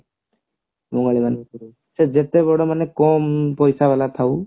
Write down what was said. ବଙ୍ଗାଳୀ ମାନଙ୍କର ସେ ଯେତେ ବଡ ମାନେ କମ ପଇସା ବାଲା ଥାଉ